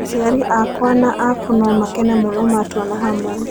Aciari akwa na aku no makene mũno matuona hamwe.